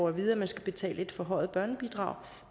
at vide at man skal betale et forhøjet børnebidrag